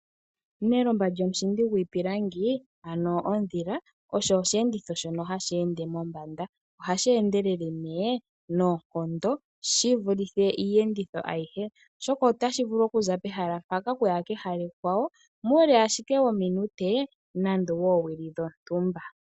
Nelomba lyomushindi gwiipilangi ano ondhila osho oshenditho shono hashi ende mombanda. Ohashi endelele ne nonkondo shi vulithe iiyenditho ayihe, oshoka otashi vulu oku za pehala mpaka okuya pehala ekwawo mule ashike wominute nande wo owili dhontumba.